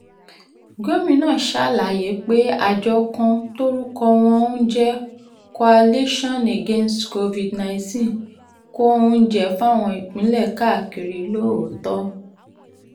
gomina ṣàlàyé pé àjọ kan tórúkọ wọn ń jẹ́ coalition against covid- nineteen kó oúnjẹ fáwọn ìpínlẹ̀ káàkiri lóòótọ́